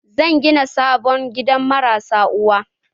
Zan gina sabon gidan marasa uwa